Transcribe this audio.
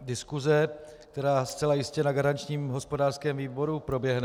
diskuse, která zcela jistě na garančním hospodářském výboru proběhne.